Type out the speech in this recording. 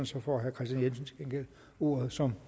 så får herre kristian jensen til gengæld ordet som